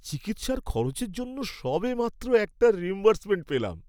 চিকিৎসার খরচের জন্য সবেমাত্র একটা রিইম্বার্সমেন্ট পেলাম।